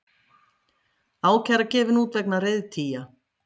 Ákæra gefin út vegna reiðtygja